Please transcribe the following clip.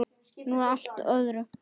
Nú að allt öðru.